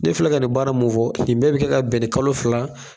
Ne fila ka ni baara mun fɔ nin bɛɛ bi kɛ ka bɛn ni kalo fila